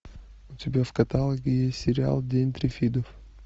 у тебя в каталоге есть сериал день триффидов